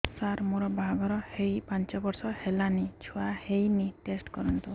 ସାର ମୋର ବାହାଘର ହେଇ ପାଞ୍ଚ ବର୍ଷ ହେଲାନି ଛୁଆ ହେଇନି ଟେଷ୍ଟ କରନ୍ତୁ